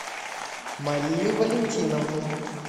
марию валентиновну